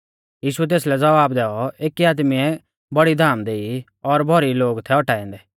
यीशुऐ तेसलै ज़वाब दैऔ एकी आदमीऐ बौड़ी धाम देई और भौरी लोग थै औटाऐ औन्दै